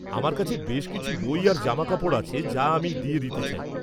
-আমার কাছে বেশ কিছু বই আর জামাকাপড় আছে যা আমি দিয়ে দিতে চাই।